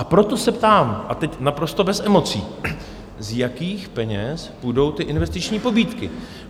A proto se ptám, a teď naprosto bez emocí, z jakých peněz půjdou ty investiční pobídky?